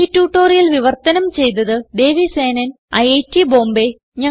ഈ ട്യൂട്ടോറിയൽ വിവർത്തനം ചെയ്തത് ദേവി സേനൻ ഐറ്റ് ബോംബേ